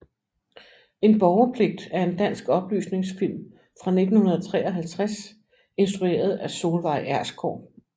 En borgerpligt er en dansk oplysningsfilm fra 1953 instrueret af Solveig Ersgaard